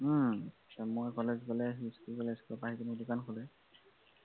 উম মই কলেজ গলে সি স্কুল গলে স্কুলৰ পৰা আহি দোকান খোলে।